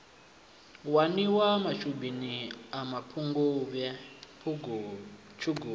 waniwa mashubini a mapungubwe tshugulu